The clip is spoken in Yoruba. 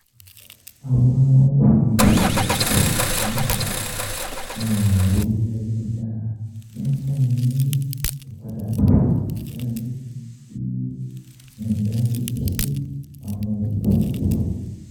Awọn ohun elo iṣowo inifura ori ayelujara n funni ni ipadabọ idaniloju si idaniloju si awọn oludokoowo.